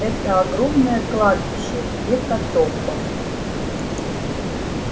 это огромное кладбище гекатомба